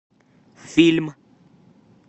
фильм